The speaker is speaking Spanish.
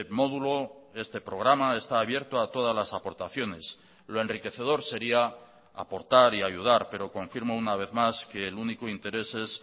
módulo este programa está abierto a todas las aportaciones lo enriquecedor sería aportar y ayudar pero confirmo una vez más que el único interés es